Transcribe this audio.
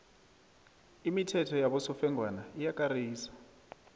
imithetho yabosofengwana iyakarisa